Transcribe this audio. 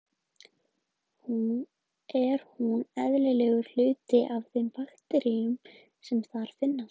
Er hún eðlilegur hluti af þeim bakteríum sem þar finnast.